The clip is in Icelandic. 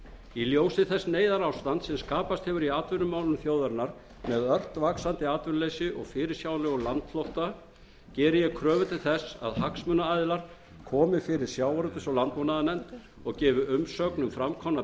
í ljósi þess neyðarástands sem skapast hefur í atvinnumálum þjóðarinnar með ört vaxandi atvinnuleysi og fyrirsjáanlegum landflótta geri ég kröfu til þess að hagsmunaaðilar komi fyrir sjávarútvegs og landbúnaðarnefnd og gefi umsögn um fram komnar